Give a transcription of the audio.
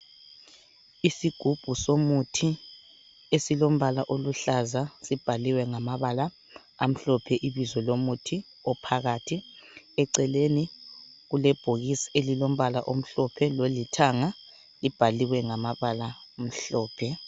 Isigubhu somuthi esilombala oluhlaza, sibhaliwe ngamabala amhlophe ibizo lomuthi ophakathi. Eceleni kulebhokisi elilombala omhlophe lolithanga libhaliwe ngamabala amhlophe.